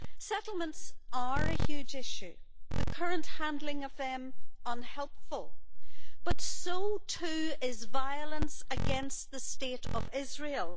Settlements are a huge issue and the current handling of them is unhelpful, but so too is violence against the State of Israel.